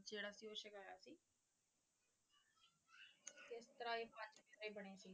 ਕਿਸ ਤਰਾਂ ਇਹ ਪੰਜ ਪਿਆਰੇ ਬਣੇ ਸੀਗੇ